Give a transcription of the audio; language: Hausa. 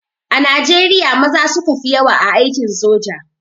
A Najriya maza suka fi yawa a aikin soja.